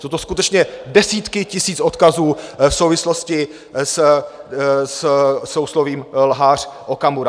Jsou to skutečně desítky tisíc odkazů v souvislosti se souslovím lhář Okamura.